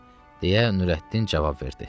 deyə Nurəddin cavab verdi.